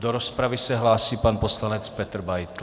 Do rozpravy se hlásí pan poslanec Petr Beitl.